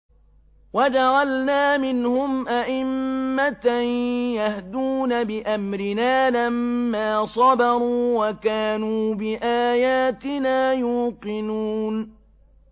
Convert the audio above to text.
وَجَعَلْنَا مِنْهُمْ أَئِمَّةً يَهْدُونَ بِأَمْرِنَا لَمَّا صَبَرُوا ۖ وَكَانُوا بِآيَاتِنَا يُوقِنُونَ